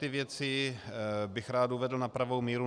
Tyto věci bych rád uvedl na pravou míru.